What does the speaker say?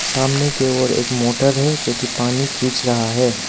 सामने की ओर एक मोटर है जोकि पानी खींच रहा है।